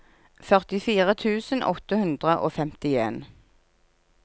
førtifire tusen åtte hundre og femtien